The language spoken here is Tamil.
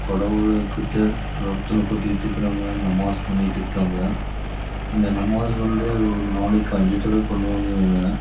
கடவுள் கிட்ட பிராத்தனை பண்றவங்க நமஸ் பண்றவங்க ஒரு நாளைக்கு அஞ்சு தடவை பன்றாங்க